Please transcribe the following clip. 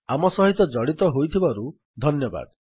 ଆମ ସହିତ ଜଡ଼ିତ ହୋଇଥିବାରୁ ଧନ୍ୟବାଦ